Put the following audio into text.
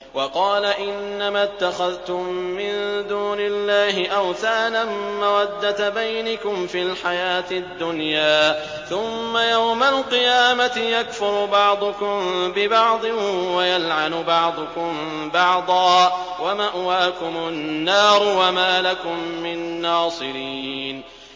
وَقَالَ إِنَّمَا اتَّخَذْتُم مِّن دُونِ اللَّهِ أَوْثَانًا مَّوَدَّةَ بَيْنِكُمْ فِي الْحَيَاةِ الدُّنْيَا ۖ ثُمَّ يَوْمَ الْقِيَامَةِ يَكْفُرُ بَعْضُكُم بِبَعْضٍ وَيَلْعَنُ بَعْضُكُم بَعْضًا وَمَأْوَاكُمُ النَّارُ وَمَا لَكُم مِّن نَّاصِرِينَ